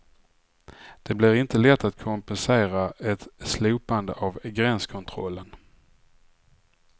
Det blir inte lätt att kompensera ett slopande av gränskontrollen.